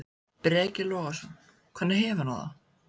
Breki Logason: Hvernig hefur hann það?